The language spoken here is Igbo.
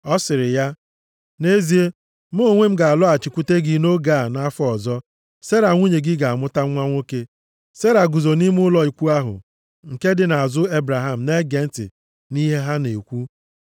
Ọ sịrị ya, “Nʼezie, mụ onwe m ga-alọghachikwute gị nʼoge a nʼafọ ọzọ, Sera nwunye gị ga-amụta nwa nwoke.” Sera guzo nʼime ụlọ ikwu ahụ nke dị nʼazụ Ebraham na-ege ntị nʼihe ha na-ekwu.